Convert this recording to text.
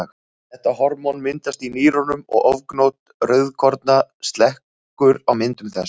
Þetta hormón myndast í nýrunum og ofgnótt rauðkorna slekkur á myndun þess.